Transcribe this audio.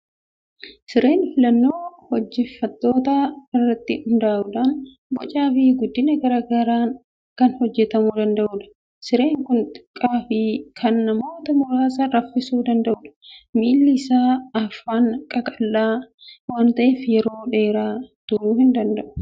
Sireen filannoo hojjechiifattootaa irratti hundaa'uudhaan bocaa fi guddina garaa garaan kan hojjetamuu danda'udha. Sireen kun xiqqaa fi kan namoota muraasa raffisuu danda'udha. Miilli isaa arfan qaqallaa waan ta'eef, yeroo dheeraa turuu hin danda'u.